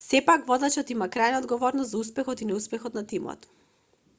сепак водачот има крајна одговорност за успехот и неуспехот на тимот